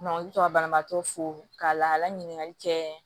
u bɛ to ka banabaatɔ fo k'a laɲini kɛ